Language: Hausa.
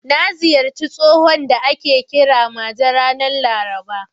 Na ziyarci tsohon da ake kira Maje ranar Laraba.